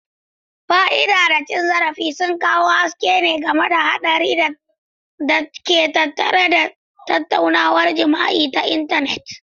fiade da cin zarafi sun kawo haske game da haɗarin da ke tattare da tattaunawar jima'i ta intanet.